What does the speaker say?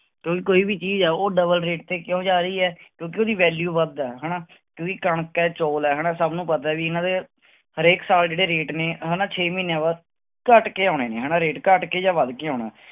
ਤੇ ਕੋਈ ਵੀ ਚੀਜ਼ ਆ ਉਹ double rate ਤੇ ਕਿਉਂ ਜਾ ਰਹੀ ਹੈ ਕਿਉਂਕਿ ਉਹਦੀ value ਵੱਧ ਹੈ ਹਨਾ, ਕਿਉਂਕਿ ਕਣਕ ਹੈ ਚੌਲ ਹੈ ਹਨਾ ਸਭ ਨੂੰ ਪਤਾ ਵੀ ਇਹਨਾਂ ਦੇ ਹਰੇਕ ਸਾਲ ਜਿਹੜੇ rate ਨੇ ਹਨਾ ਛੇ ਮਹੀਨਿਆਂ ਬਾਅਦ ਘੱਟ ਕੇ ਆਉਣੇ ਨੇ ਹਨਾ rate ਘੱਟ ਕੇ ਜਾਂ ਵੱਧ ਕੇ ਆਉਣਾ,